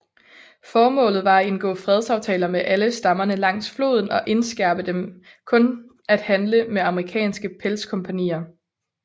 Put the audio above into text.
Formålet var at indgå fredsaftaler med alle stammerne langs floden og indskærpe dem kun at handle med amerikanske pelskompagnier